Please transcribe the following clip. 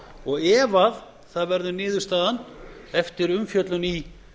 og ef það verður niðurstaðan eftir umfjöllun í